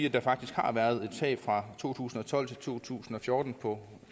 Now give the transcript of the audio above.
at der faktisk har været et tab fra to tusind og tolv til to tusind og fjorten på